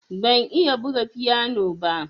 Ban iya buga fiyano ba.